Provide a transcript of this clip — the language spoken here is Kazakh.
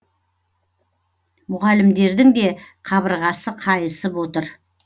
мұғалімдердің де қабырғасы қайысып отыр